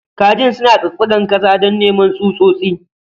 Kajin suna tsatsagar ƙasa don neman tsutsotsi.